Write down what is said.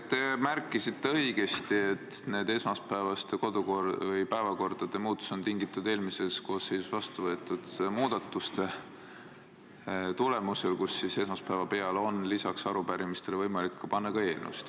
Te märkisite õigesti, et esmaspäevase päevakorra muutus on tingitud eelmise koosseisu ajal vastu võetud muudatustest, millega otsustati, et esmaspäeva peale on lisaks arupärimistele võimalik panna ka eelnõusid.